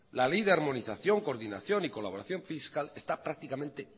la ley de armonización coordinación y colaboración fiscal está prácticamente